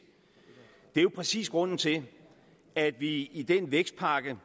det er jo præcis grunden til at vi i den vækstpakke